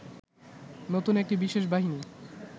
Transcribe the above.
নতুন একটি বিশেষ বাহিনী